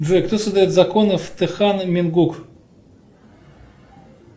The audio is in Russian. джой кто создает законы в тэхан мингук